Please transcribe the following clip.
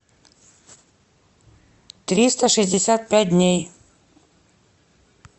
триста шестьдесят пять дней